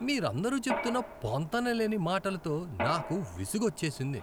మీరందరూ చెప్తున్న పొంతనలేని మాటలతో నాకు విసుగోచ్చేసింది.